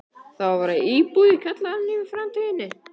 Það á að vera íbúð í kjallaranum í framtíðinni.